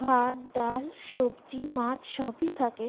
ভাত ডাল সবজি মাছ সবি থাকে ।